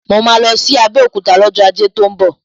Mo máa lọ sí Abẹ́òkúta lọ́jọ́ Ajé tó ń bọ̀